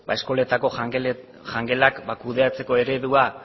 eskoletako jangelak kudeatzeko eredua